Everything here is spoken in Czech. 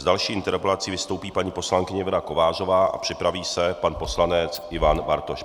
S další interpelací vystoupí paní poslankyně Věra Kovářová a připraví se pan poslanec Ivan Bartoš.